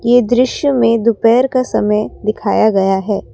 यह दृश्य में दोपहर का समय दिखाया गया है ।